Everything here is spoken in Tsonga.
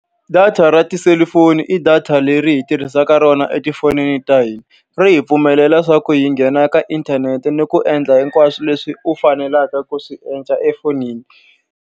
Data ra tiselufoni i data leri hi tirhisaka rona etifonini ta hina. Ri hi pfumelela leswaku hi nghena ka inthanete ni ku endla hinkwaswo leswi u faneleke ku swi endla efonini.